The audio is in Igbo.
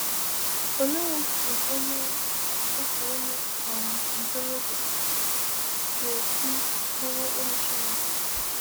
Olee otú onye otú onye um ntorobịa ga-esi bụrụ enyi Chineke?